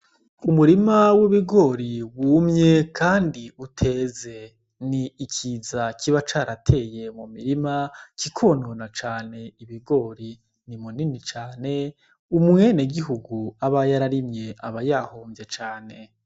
Umurima w'ibigori wumye kandi uteze. Ni ikiza kiba carataye mu mirima kikonona cane ibigori. Ni munini cane, umwenegihugu aba yararimye aba yahomvye cane.